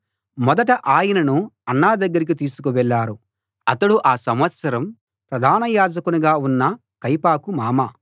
మొదట ఆయనను అన్న దగ్గరికి తీసుకువెళ్ళారు అతడు ఆ సంవత్సరం ప్రధాన యాజకునిగా ఉన్న కయపకు మామ